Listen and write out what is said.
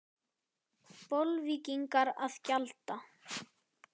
Bolvíkingar að gjalda?